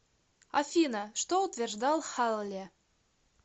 афина что утверждал халле